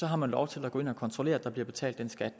har lov til at gå ind og kontrollere om der bliver betalt den skat